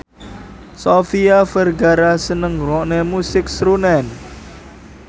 Sofia Vergara seneng ngrungokne musik srunen